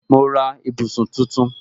Mo ra ibùsùn tuntun